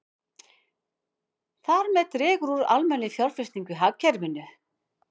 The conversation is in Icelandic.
Þar með dregur úr almennri fjárfestingu í hagkerfinu.